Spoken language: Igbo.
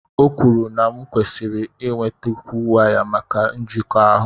O kwuru na m nkwesiri inwetakwu waya maka njikọ ahụ.